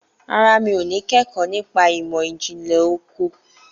Rárá, n kò ní kẹ́kọ̀ọ́ nípa ìmọ̀ ìjìnlẹ̀ oko.